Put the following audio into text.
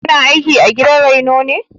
Kina aiki a gidan raino ne?